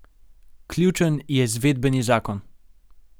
Ključen je izvedbeni zakon.